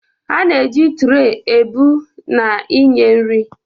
A na-eji trey ebu na inye nri.